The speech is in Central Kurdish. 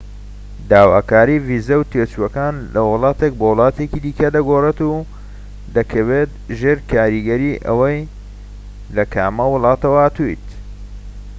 داواکاری ڤیزە و تێچووەکان لە وڵاتێک بۆ وڵاتێکی دیکە دەگۆڕێت و دەکەوێت ژێر کاریگەری ئەوەی لە کامە وڵاتە هاتوویت